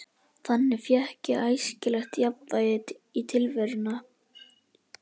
Þannig fékk ég æskilegt jafnvægi í tilveruna.